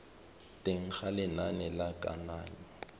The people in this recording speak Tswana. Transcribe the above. teng ga lenane la kananyo